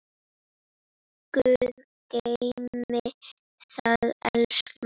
Guð geymi þig, elsku amma.